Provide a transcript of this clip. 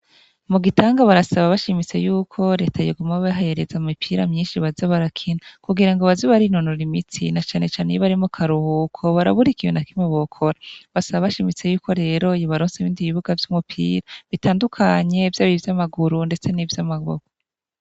Mugitenga barasaba bashimitse yuko reta yoguma ibahereza imipira myinshi baza barakina kugira ngobaze barinonora imitsi na cane cane iyobari mukaruhuko barabura ikintu nakimwe bokora basaba bashimitse yuko rero yobaronsa ibibuga vyumupira bitandukanye vyaba ivyamaguru ndetse nivyamaboko